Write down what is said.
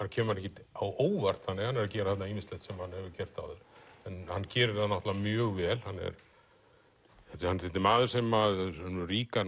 kemur ekkert á óvart hann er að gera þarna ýmislegt sem hann hefur gert áður en hann gerir það náttúrulega mjög vel hann er maður sem hefur ríka